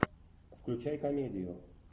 включай комедию